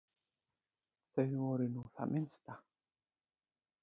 Þau voru nú það minnsta.